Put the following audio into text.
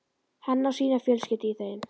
Hann á sína fjölskyldu í þeim.